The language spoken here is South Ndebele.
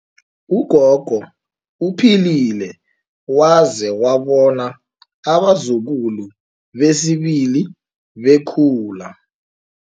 Ugogo uphilile waze wabona abazukulu besibili bekhula.